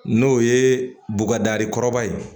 N'o ye bɔgɔda kɔrɔba ye